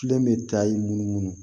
Filɛ nin bɛ da i munumunu